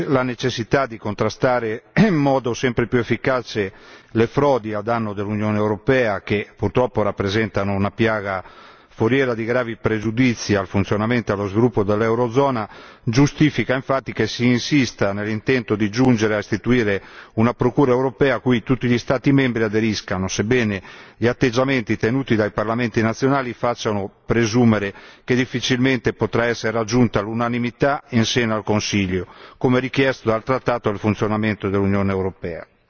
La necessità di contrastare in modo sempre più efficace le frodi a danno dell'Unione europea, che purtroppo rappresentano una piaga foriera di gravi pregiudizi al funzionamento e allo sviluppo dell'Eurozona, giustifica infatti che si insista nell'intento di giungere a istituire una procura europea, cui tutti gli Stati membri aderiscano, sebbene gli atteggiamenti tenuti dai parlamenti nazionali facciano presumere che difficilmente potrà essere raggiunta l'unanimità in seno al Consiglio, come richiesto dal trattato al funzionamento dell'Unione europea.